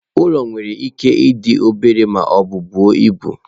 Ụlọ nwere ike ịdị obere ma ọ bụ buo ibu.